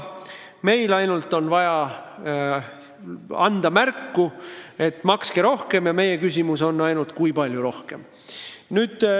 Meile on ainult vaja anda märku, et makske rohkem, ja meie küsimus on ainult, kui palju rohkem.